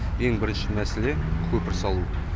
ең бірінші мәселе көпір салу